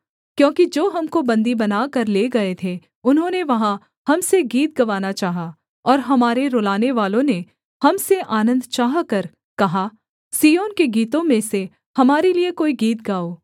क्योंकि जो हमको बन्दी बनाकर ले गए थे उन्होंने वहाँ हम से गीत गवाना चाहा और हमारे रुलाने वालों ने हम से आनन्द चाहकर कहा सिय्योन के गीतों में से हमारे लिये कोई गीत गाओ